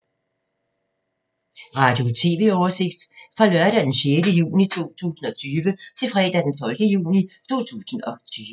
Radio/TV oversigt fra lørdag d. 6. juni 2020 til fredag d. 12. juni 2020